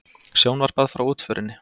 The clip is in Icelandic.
Sjónvarpað frá útförinni